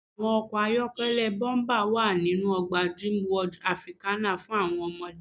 Àwọn ọkọ̀ ayọ́kẹ́lẹ́ bọ́ḿpà wa ninu ọgbà Dreamworld Africana fún àwọn ọmọdé.